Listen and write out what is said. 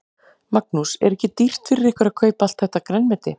Magnús: Er ekki dýrt fyrir ykkur að kaupa allt þetta grænmeti?